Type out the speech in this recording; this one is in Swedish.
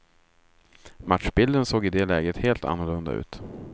Matchbilden såg i det läget helt annorlunda ut.